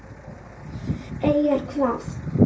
Eyjar hvað?